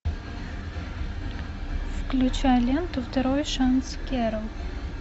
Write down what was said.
включай ленту второй шанс кэрол